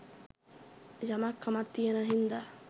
යමක් කමක් තියෙන හින්ද